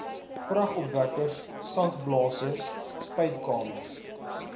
kragopwekkers sandblasers spuitkamers